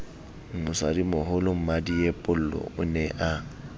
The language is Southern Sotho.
mosadimoholo mmadiepollo o ne a